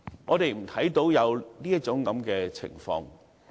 我們看不到有這種情況。